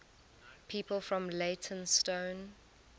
people from leytonstone